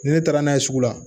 Ni ne taara n'a ye sugu la